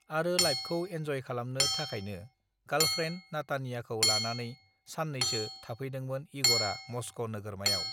आरो लाइफखौ एन्जय खालामनो थाखायनो गालप्रेन्ड नाटानियाखौ लानानै सान्नैसो थाफैदोंनोन इगरा मस्क नोगोरमायाव